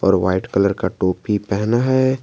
और white colour का टोपी पहना है।